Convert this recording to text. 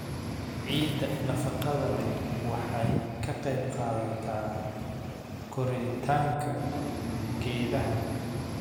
Ciidda nafaqada leh waxay ka qaybqaadataa koritaanka geedaha.